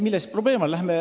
Milles probleem on?